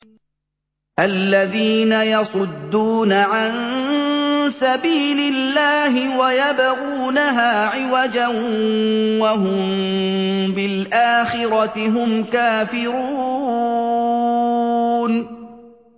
الَّذِينَ يَصُدُّونَ عَن سَبِيلِ اللَّهِ وَيَبْغُونَهَا عِوَجًا وَهُم بِالْآخِرَةِ هُمْ كَافِرُونَ